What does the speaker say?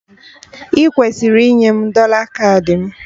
Ị kwesịrị inye m dọla kaadị!